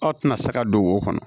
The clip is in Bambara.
Aw tɛna se ka don wo kɔnɔ